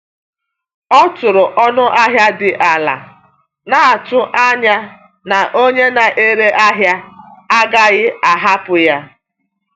Ọ tụrụ ọnụ ahịa dị ala, na-atụ anya na onye na-ere ahịa agaghị ahapụ ya.